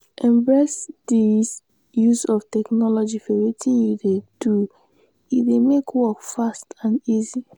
embrace di use of technology for wetin you dey do e dey make work fast and easy